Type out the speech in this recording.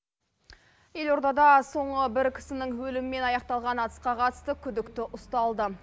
елордада соңы бір кісінің өлімімен аяқталған атысқа қатысты күдікті ұсталды